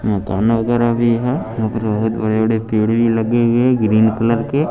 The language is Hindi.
मकान वगैरा भी है भी लगे हुएं हैं ग्रीन कलर के।